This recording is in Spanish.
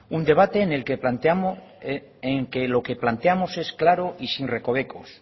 un debate en que lo que planteamos es claro y sin recovecos